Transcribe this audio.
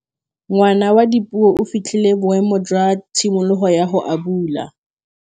Ngwana wa Dipuo o fitlhile boêmô jwa tshimologô ya go abula.